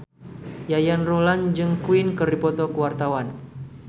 Yayan Ruhlan jeung Queen keur dipoto ku wartawan